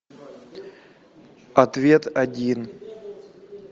ответ один